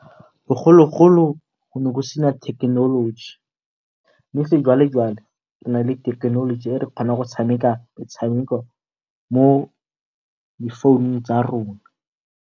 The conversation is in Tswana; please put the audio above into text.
Bogologolo go ne go sena thekenoloji mme sejwalejwale re nale thekenoloji e re kgonang go tshameka metshameko mo difounung tsa rona.